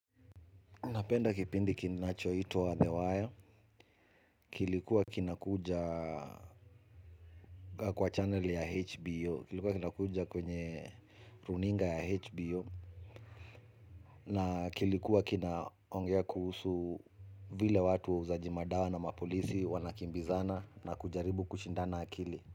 Napenda kipindi kinachoitwa The Wire, kilikuwa kinakuja kwa channel ya HBO, kilikuwa kinakuja kwenye runinga ya HBO. Na kilikuwa kinaongea kuhusu vile watu wauzaji madawa na mapolisi wanakimbizana na kujaribu kushindana akili.